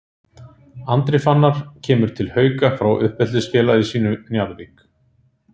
Andri Fannar kemur til Hauka frá uppeldisfélagi sínu Njarðvík.